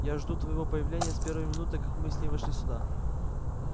я жду твоего появления с первой минуты как мы с ней вошли сюда